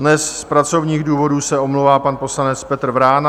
Dnes z pracovních důvodů se omlouvá pan poslanec Petr Vrána.